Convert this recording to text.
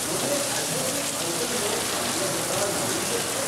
મને એડહેસિવ્સ આઇટમનો અન્ય પ્રકાર મળી શકશે?